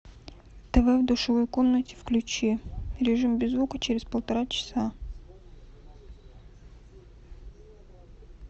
тв в душевой комнате включи режим без звука через полтора часа